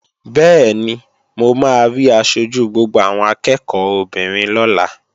Bẹ́ẹ̀ni, mo máa rí aṣojú gbogbo àwọn akẹ́ẹ̀kọ́ obìnrin lọ́la